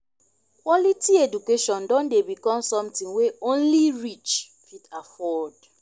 quality education don dey become something wey only rich fit afford.